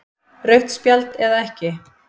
Rautt spjald eða ekki?